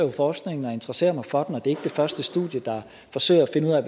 i forskningen og interesserer mig for den og det er ikke det første studie der forsøger at finde ud af